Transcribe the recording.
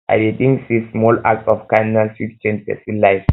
i dey think say small acts of kindness fit change pesin life